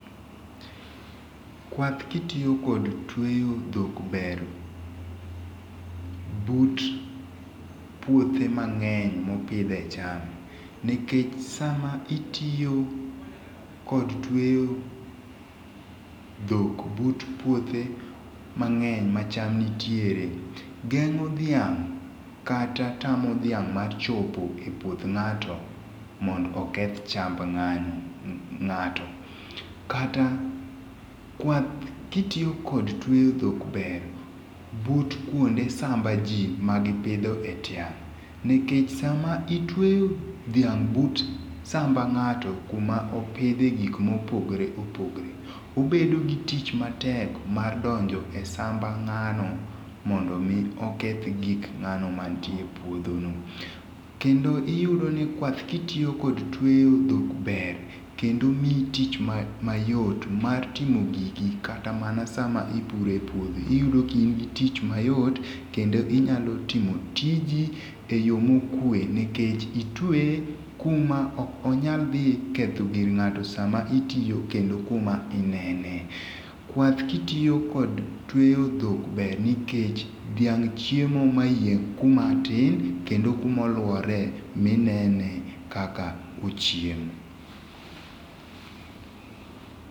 Kwath ki itiyo kod tweyo dhok ber, but puothe mang'eny mo opidhe cham nikech sa ma itiyo kod tweyo dhok but puothe mang'eny ma cham nitiere ,geng'o dhiang' kata tamo dhiang' mar chopo e puoth ng'ato mondo oketh ocham ng'ato kata kwath ki itiyo kod tweyo dhok ber but kuonde samba ji ma gi pidhe e tiang' nikech sa ma itwe dhiang' e but samba ng'ato ku ma opidhe gik ma opogore opogore obedo gi tich matek mar donjo e samba ng'ano mondo mi oketh gik ng'ano ma nie e puodho no kendo iyudo i kwath ki itiyo kod tweyo dhok ber kendo miyi tich mayot mar timo gigi kata mana sa ma ipuro e puodho iyudo ka in gi tich mayot kendo inyalo timo tiji e yo mo okwe nikech itweye ku ma ok onyal dhi ketho gir ng'ato sa ma itiyo kendo ku ma inene. Kwath ki itiyo kod tweyo dhok ber nikech dhiang' chiemo ma yieng' ku ma tin kendo ku ma oluwore ma inene kaka ochiemo.